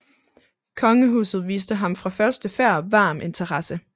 Kongehuset viste ham fra første færd varm interesse